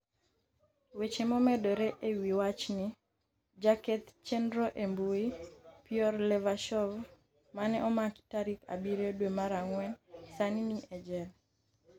weche momedore e wi wachni. jaketh chenro e mbui. Pyor Levashov mane omaki tarik abiriyo dwe mar ang'wen sani ni e jela.